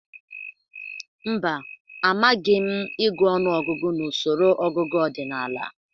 Mba, amagịi m ịgụ ọnụọgụgụ n'usoro ọgụgụ ọdịnaala.